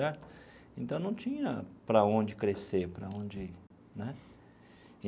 Então, não tinha para onde crescer para onde né.